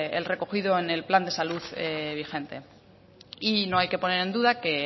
el recogido en el plan de salud vigente y no hay que poner en duda que